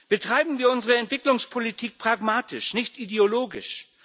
Betreiben wir unsere Entwicklungspolitik pragmatisch, nicht ideologisch!